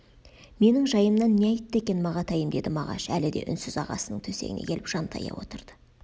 менің жайымнан не айтты екен мағатайым деді мағаш әлі де үнсіз ағасының төсегіне келіп жантая отырды